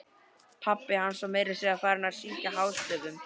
Pabbi hans var meira að segja farinn að syngja hástöfum!